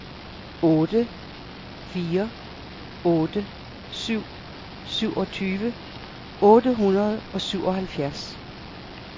otte fire otte syv syvogtyve otte hundrede og syvoghalvfjerds